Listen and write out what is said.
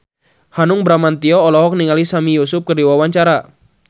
Hanung Bramantyo olohok ningali Sami Yusuf keur diwawancara